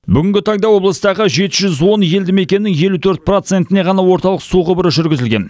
бүгінгі таңда облыстағы жеті жүз он елді мекеннің елу төрт процентіне ғана орталық су құбыры жүргізілген